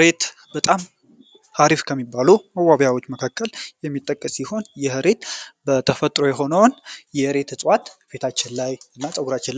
ሬት በጣም አሪፍ ከሚባሉ ዋቢያዎች መካከል የሚጠቀስ ሲሆን በተፈጥሮ የሆነውን ፊታቸው